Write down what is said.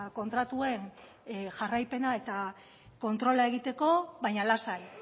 kontratuen jarraipena eta kontrola egiteko baina lasai